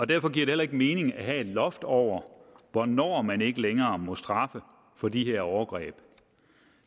derfor giver det heller ikke mening at have et loft over hvornår man ikke længere må straffe for de her overgreb